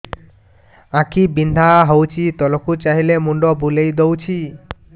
ଆଖି ବିନ୍ଧା ହଉଚି ତଳକୁ ଚାହିଁଲେ ମୁଣ୍ଡ ବୁଲେଇ ଦଉଛି